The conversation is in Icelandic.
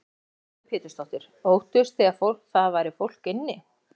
Lillý Valgerður Pétursdóttir: Óttuðust þið að það væri fólk inni?